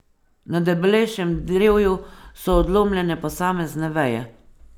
Na debelejšem drevju so odlomljene posamezne veje.